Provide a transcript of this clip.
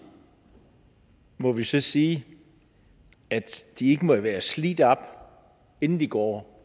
må vi så sige at de ikke må være slidt op inden de går